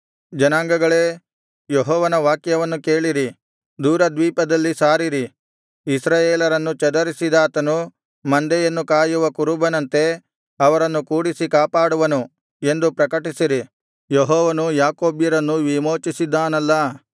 ಜನಾಂಗಗಳೇ ಯೆಹೋವನ ವಾಕ್ಯವನ್ನು ಕೇಳಿರಿ ದೂರ ದ್ವೀಪಗಳಲ್ಲಿ ಸಾರಿರಿ ಇಸ್ರಾಯೇಲರನ್ನು ಚದರಿಸಿದಾತನು ಮಂದೆಯನ್ನು ಕಾಯುವ ಕುರುಬನಂತೆ ಅವರನ್ನು ಕೂಡಿಸಿ ಕಾಪಾಡುವನು ಎಂದು ಪ್ರಕಟಿಸಿರಿ ಯೆಹೋವನು ಯಾಕೋಬ್ಯರನ್ನು ವಿಮೋಚಿಸಿದ್ದಾನಲ್ಲಾ